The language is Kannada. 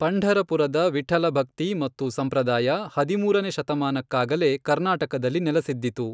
ಪಂಢರಪುರದ ವಿಟ್ಠಲಭಕ್ತಿ ಮತ್ತು ಸಂಪ್ರದಾಯ ಹದಿಮೂರನೆಯ ಶತಮಾನಕ್ಕಾಗಲೇ ಕರ್ನಾಟಕದಲ್ಲಿ ನೆಲಸಿದ್ದಿತು.